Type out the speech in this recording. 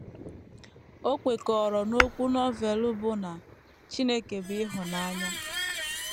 O kwekọrọ n’okwu Novel bụ́ na “ Chineke bụ ịhụnanya. ”